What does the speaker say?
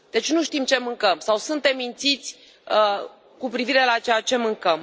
Deci, nu știm ce mâncăm sau suntem mințiți cu privire la ceea ce mâncăm.